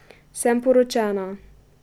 Sem poročena.